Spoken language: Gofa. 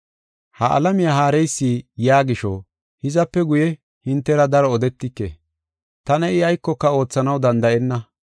“Ha alamiya haareysi yaa gisho hizape guye hintera daro odetike. Tana I aykoka oothanaw danda7enna.